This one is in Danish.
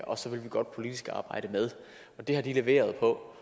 og så vil vi godt politisk arbejde med det har de leveret på